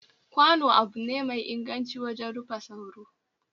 Kwano abu ne mai inganci wajen rufa soro,